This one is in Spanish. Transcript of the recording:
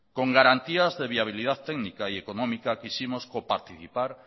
con garantías de viabilidad técnica y económica quisimos coparticipar